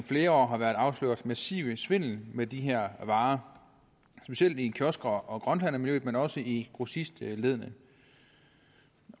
flere år har været afsløret massiv svindel med de her varer specielt i kiosk og og grønthandlermiljøet men også i grossistleddet